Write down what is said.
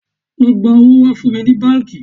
Lọ gba owó wá fún mi ní báńkì